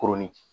Koronni